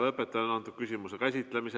Lõpetan antud küsimuse käsitlemise.